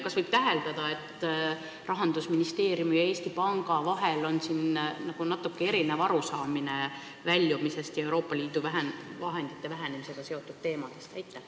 Kas võib täheldada, et Rahandusministeeriumil ja Eesti Pangal on siinkohal natuke erinev arusaamine Euroopa Liidu vahendite vähenemisega seotud teemadest?